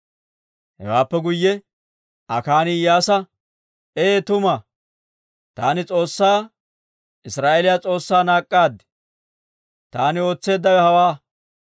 Hewaappe guyye Akaani Iyyaasa, «Ee tuma! Taani S'oossaa Israa'eeliyaa S'oossaa naak'k'aad. Taani ootseeddawe hawaa: